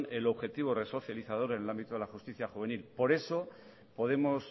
el objetivo resocializador en el ámbito de la justicia juvenil por eso podemos